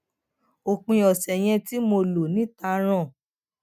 òpin ọsẹ yẹn tí mo lò níta ràn